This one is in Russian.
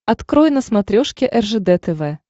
открой на смотрешке ржд тв